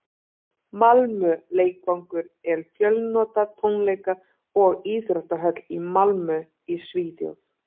malmö leikvangur er fjölnota tónleika og íþróttahöll í malmö í svíþjóð